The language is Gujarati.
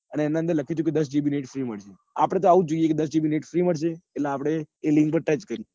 અને એના અંદર લખ્યું હતું કે દસ જીબી નેટ free મળશે. આપડે તો એવું જોઈએ કે દસ જીબી નેટ free મળશે. એટલે આપડે એ link પર touch કરીએ.